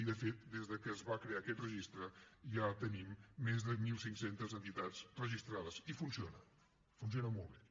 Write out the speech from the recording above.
i de fet des de que es va crear aquest registre ja tenim més de mil cinc centes entitats registrades i funciona funciona molt bé